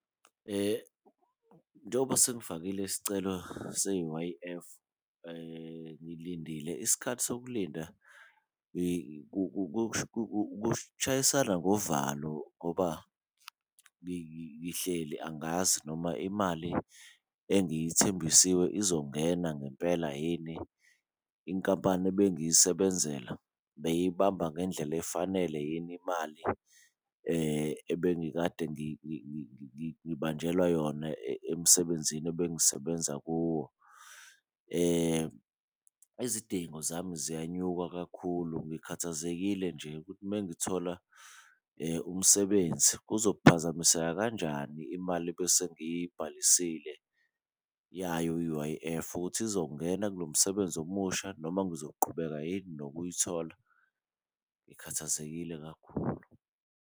Njengoba sengifakile isicelo se-U_I_F ngilindile. Isikhathi sokulinda kushayisana ngovalo ngoba ngihleli angazi noma imali engithembisiwe izongena ngempela yini. Inkampani ebengiyisebenzela beyiyibamba ngendlela efanele yini imali ebengikade ngibanjelwa yona emsebenzini ebengisebenza kuwo. Izidingo zami ziyanyuka kakhulu. Ngikhathazekile nje ukuthi mengithola umsebenzi kuzophazamiseka kanjani imali ebese ngiyibhalisile yayo i-U_I_F ukuthi izongena kulo msebenzi omusha noma ngizoqhubeka yini nokuyithola. Ngikhathazekile kakhulu.